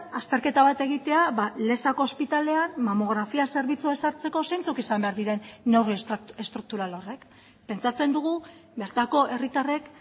azterketa bat egitea lezako ospitalean mamografia zerbitzua eskaintzeko zeintzuk izan behar diren neurri estrukturalak pentsatzen dugu bertako herritarrek